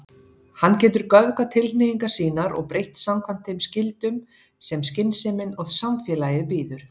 Hann getur göfgað tilhneigingar sínar og breytt samkvæmt þeim skyldum sem skynsemin og samfélagið býður.